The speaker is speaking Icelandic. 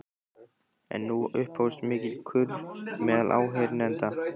En nú upphófst mikill kurr meðal áheyrenda.